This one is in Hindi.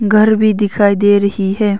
घर भी दिखाई दे रही है।